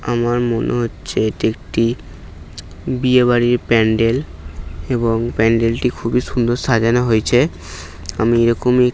আমার মনে হচ্ছে একটি বিয়ে বাড়ির প্যান্ডেল এবং প্যান্ডেলটি খুবই সুন্দর সাজানো হয়েছে আমি এরকমই--